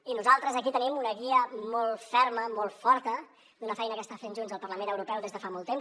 i nosaltres aquí tenim una guia molt ferma molt forta d’una feina que està fent junts al parlament europeu des de fa molt temps